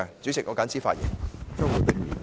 主席，我謹此陳辭。